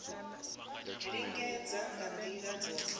u lingedza nga ndila dzothe